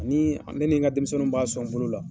Ani ne ni n ka denmisɛnninw b'a sɔn bolo la.